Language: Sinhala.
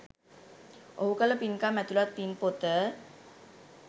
ඔහු කළ පින්කම් ඇතුළත් පින් පොත